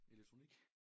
Elektronik?